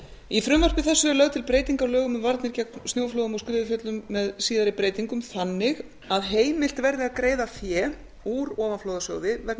í frumvarpi þessu er lögð til breyting á lögum um varnir gegn snjóflóðum og skriðuföllum með síðari breytingum þannig að heimilt verði að greiða fé úr ofanflóðasjóði vegna